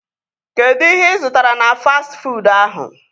Kedụ ihe ị zụtara na fastị fuud ahụ?